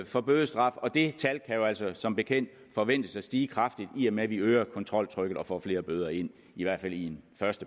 for bødestraf og det tal kan jo altså som bekendt forventes at stige kraftigt i og med at vi øger kontroltrykket og får flere bøder ind i hvert fald i